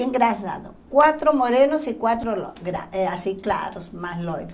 E engraçado, quatro morenos e quatro é assim claros, mais loiros.